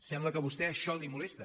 sembla que a vostè això el molesta